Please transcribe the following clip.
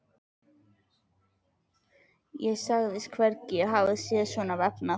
Ég sagðist hvergi hafa séð svona vefnað.